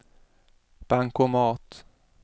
bankomat